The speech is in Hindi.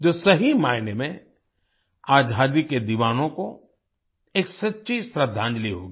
जो सही मायने में आजादी के दीवानों को एक सच्ची श्रद्धांजलि होगी